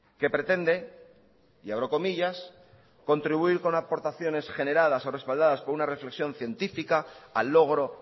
que pretende y abro comillas contribuir con aportaciones generadas o respaldadas por una reflexión científica al logro